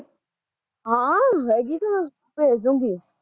ਹਾਂ ਹੈਗੀ ਆ, ਭੇਜਦੂਗੀ